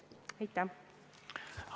Aitäh!